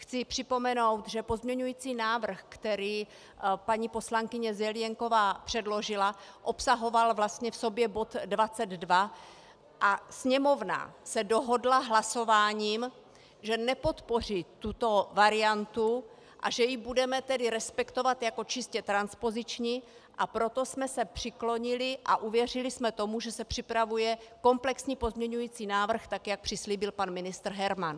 Chci připomenout, že pozměňující návrh, který paní poslankyně Zelienková předložila, obsahoval vlastně v sobě bod 22 a Sněmovna se dohodla hlasováním, že nepodpoří tuto variantu, a že ji budeme tedy respektovat jako čistě transpoziční, a proto jsme se přiklonili a uvěřili jsme tomu, že se připravuje komplexní pozměňující návrh, tak jak přislíbil pan ministr Herman.